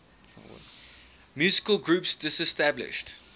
musical groups disestablished